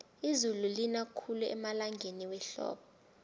izulu lina khulu emalangeni wehlobo